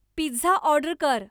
pizza order कर